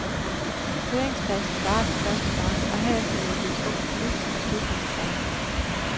Høringsfasen varer til første marts, og herefter vil der blive truffet politisk beslutning i sagen.